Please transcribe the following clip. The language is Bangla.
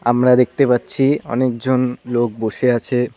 আমরা দেখতে পাচ্ছি অনেকজন লোক বসে আছে।